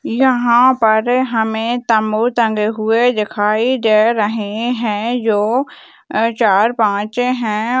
यह पर हमें तम्बू टंगे हुए दिखाई दे रहे हैं जो अ चार-पांच हैं।